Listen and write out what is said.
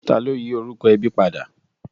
Ta ló yí orúkọ ẹbí padà?